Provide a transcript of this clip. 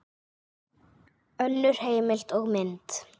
Önnur heimild og mynd